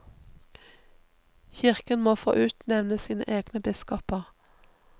Kirken må få utnevne sine egne biskoper.